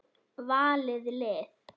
Valið lið.